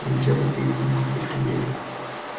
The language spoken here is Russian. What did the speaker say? но нельзя подходить к нему слишком близко